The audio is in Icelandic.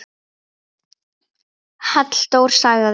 Halldór sagði: